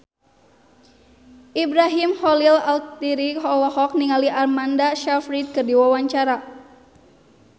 Ibrahim Khalil Alkatiri olohok ningali Amanda Sayfried keur diwawancara